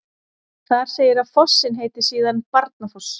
Þar segir að fossinn heiti síðan Barnafoss.